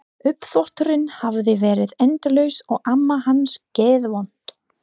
Uppþvotturinn hafði verið endalaus og amma hans geðvond.